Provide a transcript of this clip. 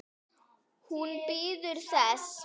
Hún bíður þess.